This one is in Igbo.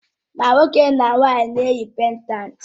Mà nwoke ma nwanyị na-eyi péndántí